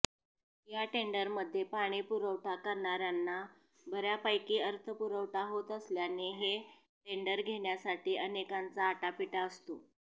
या टेंडरमध्ये पाणीपुरवठा करणार्यांना बर्यापैकी अर्थपुरवठा होत असल्याने हे टेंडर घेण्यासाठी अनेकांचा आटापिटा असतो